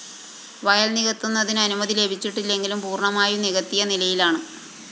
വയല്‍ നികത്തുന്നതിനു അനുമതി ലഭിച്ചിട്ടില്ലെങ്കിലും പൂര്‍ണമായും നികത്തിയ നിലയിലാണ്